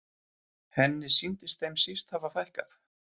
Henni sýndist þeim síst hafa fækkað.